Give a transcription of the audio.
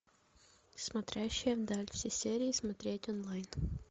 смотрящая вдаль все серии смотреть онлайн